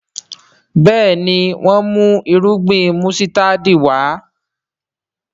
Béèni wón mú Irúgbìn músítádì Wá.